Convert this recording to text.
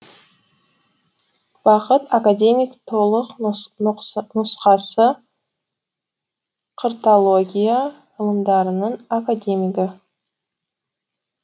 бақыт академик толық нұсқасы қыртология ғылымдарының академигі